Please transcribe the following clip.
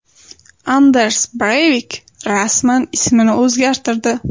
Anders Breyvik rasman ismini o‘zgartirdi.